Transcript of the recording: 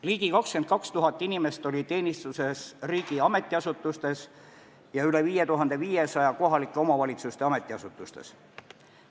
Ligi 22 000 inimest oli teenistuses riigi ametiasutustes ja üle 5500 kohalike omavalitsuste ametiasutustes.